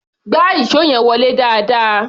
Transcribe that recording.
Gbá ìṣó yẹn wọlé dáadáa!